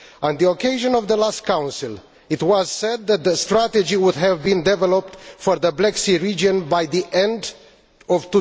On the occasion of the last Council, it was said that a strategy would have been developed for the Black Sea region by the end of